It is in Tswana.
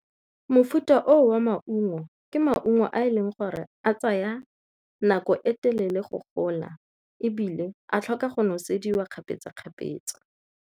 Mofuta oo wa maungo ke maungo a e leng gore a tsaya nako e telele go gola ebile a tlhoka go nosediwa kgapetsa-kgapetsa.